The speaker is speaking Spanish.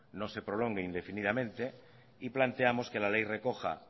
no se prolongue indefinidamente y planteamos que la ley recoja